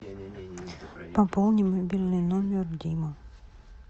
пополни мобильный номер дима